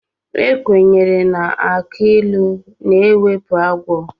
Ekwenyere na agbilu na-ewepụ agwọ.